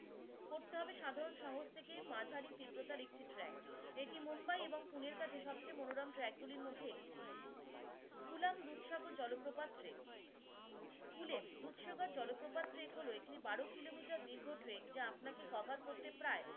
দুর্শকর জলপ্রপাত cover হলো এটি বারো কিলোমিটার দীর্ঘ ট্রেন যা আপনাকে cover করতে প্রায়